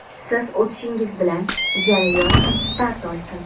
siz o‘tirishingiz bilan jarayon start olsin.